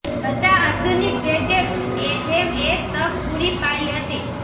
બધા આધુનિક ગેજેટ્સ જેમ એક તક પૂરી પાડી હતી